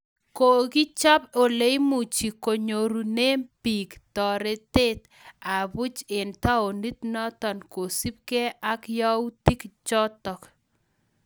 Kokichop uleimuji konyorune pick toret ab buuch eng taonit notok kosup ke ak yautik chotok.